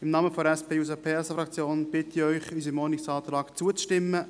Im Namen der SP-JUSO-PSA-Fraktion bitte ich Sie, unserem Ordnungsantrag zuzustimmen.